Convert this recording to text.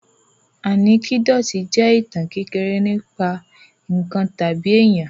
Ànẹ́kídòtì jẹ́ ìtàn kékeré nípa ǹkan tàbí èyàn.